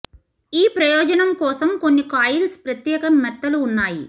ఈ ప్రయోజనం కోసం కొన్ని కాయిల్స్ ప్రత్యేక మెత్తలు ఉన్నాయి